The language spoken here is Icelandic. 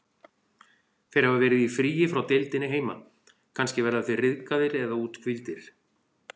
Þeir hafa verið í fríi frá deildinni heima, kannski verða þeir ryðgaðir eða úthvíldir.